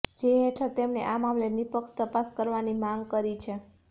જે હેઠળ તેમણે આ મામલે નિપક્ષ તપાસ કરવાની માંગ કરી છે